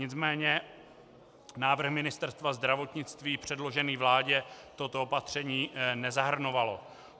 Nicméně návrh Ministerstva zdravotnictví předložený vládě toto opatření nezahrnoval.